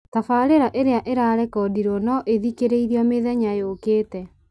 tabarĩra ĩrĩa ĩrarekondirwo no ĩthikĩrĩrio mĩthenya yũkĩte